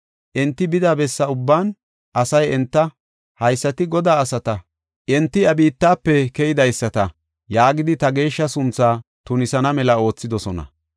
Enti bida besse ubban asay enta, ‘Haysati Godaa asata; enti iya biittafe keydaysata’ ” yaagidi ta geeshsha sunthaa tunisana mela oothidosona.